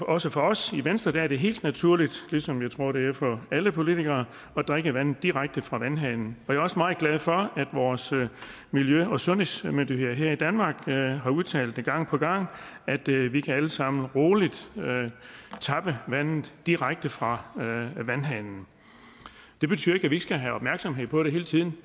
også for os i venstre er det helt naturligt ligesom jeg tror det er det for alle politikere at drikke vandet direkte fra vandhanen og jeg er også meget glad for at vores miljø og sundhedsmyndigheder her i danmark har udtalt gang på gang at vi vi alle sammen rolig kan tappe vandet direkte fra vandhanen det betyder ikke at vi ikke skal have opmærksomhed på det hele tiden